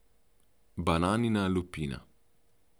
Bananina lupina.